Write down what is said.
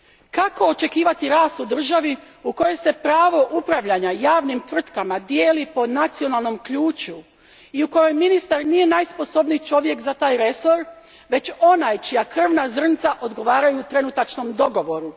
Kako očekivati rast u državi u kojoj se pravo upravljanja javnim tvrtkama dijeli po nacionalnom ključu i u kojoj ministar nije najsposobniji čovjek za taj resor, već onaj čija krvna zrnca odgovaraju trenutačnom dogovoru.